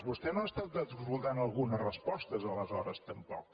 vostè no ha estat escoltant algunes respostes aleshores tampoc